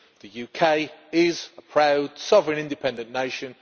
The UK is a proud, sovereign, independent nation.